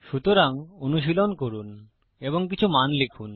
সুতরাং অনুশীলন করুন এবং কিছু মান লিখুন